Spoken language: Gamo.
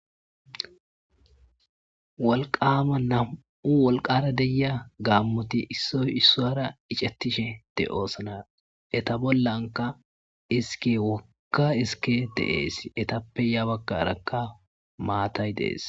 Wolqama nam'u wolqara deia gaammoti issoy issuara iccattishe de oosana eta bollanka iske wokka iske deees etappe yabaggarakka maatay deees.